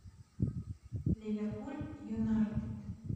ливерпуль юнайтед